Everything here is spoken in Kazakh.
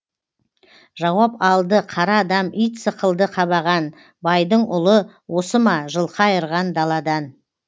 жауап алды қара адам ит сықылды қабаған байдың ұлы осы ма жылқы айырған даладан